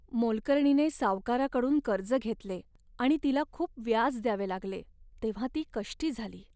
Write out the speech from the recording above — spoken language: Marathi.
मोलकरणीने सावकाराकडून कर्ज घेतले आणि तिला खूप व्याज द्यावे लागले तेव्हा ती कष्टी झाली.